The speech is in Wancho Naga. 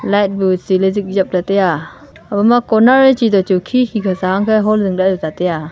light bu tse ley zik jep ley taiya abo ma corner chi toh khi khi ka sa ang khe hall zing lah ley tuta taiya.